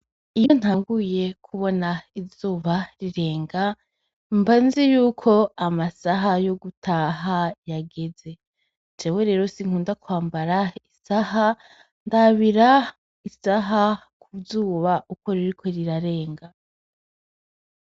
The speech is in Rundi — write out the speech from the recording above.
Iyo batanguye kubona izuba rirenga mba nzi yuko amasaha yo gutaha yageze jewe rero sinkunda kwambara isaha ndabira isaha kuzuba ukwo ririko rirarenga.